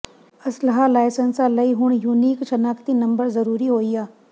ਅਸਲ੍ਹਾ ਲਾਇਸੰਸਾਂ ਲਈ ਹੁਣ ਯੂਨੀਕ ਸ਼ਨਾਖਤੀ ਨੰਬਰ ਜ਼ਰੂਰੀ ਹੋਇਆ